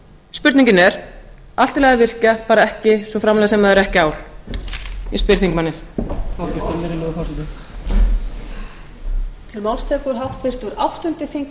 spurningin er allt í lagi að virkja bara svo framarlega sem það er ekki ál ég spyr þingmanninn virðulegi forseti